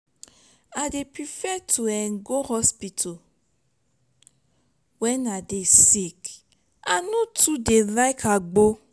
i dey prefer to um go hospital wen i dey sick i no too like agbo.